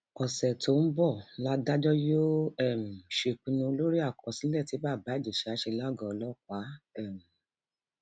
ọṣẹ tó ń bọ látajọ yóò um ṣèpinnu lórí àkọsílẹ tí bàbá ìjèṣà ṣe lágọọ ọlọpàá um